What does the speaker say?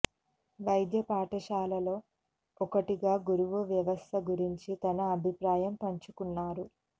వైద్య పాఠశాలల్లో ఒకటిగా గురువు వ్యవస్థ గురించి తన అభిప్రాయం పంచుకున్నారు